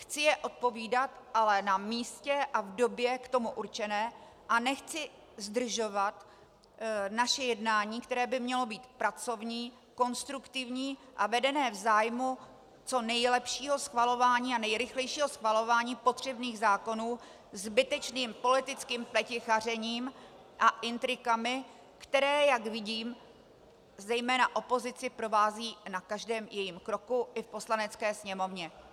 Chci je odpovídat, ale na místě a v době k tomu určené a nechci zdržovat naše jednání, které by mělo být pracovní, konstruktivní a vedené v zájmu co nejlepšího schvalování a nejrychlejšího schvalování potřebných zákonů, zbytečným politickým pletichařením a intrikami, které, jak vidím, zejména opozici provází na každém jejím kroku i v Poslanecké sněmovně.